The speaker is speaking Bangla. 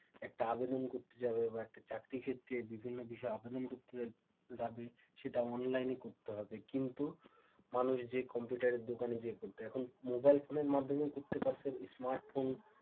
একটা আবেদন করতে যাবে বা চাকরি ক্ষেত্রে বিভিন্ন বিষয়ে আবেদন করতে যাবে সেটা অনলাইনে করতে হবে কিন্তু মানুষ কম্পিউটার দোকানে গিয়ে করত এখন মোবাইল ফোনের মাধ্যমে করতে পারছে smart phone,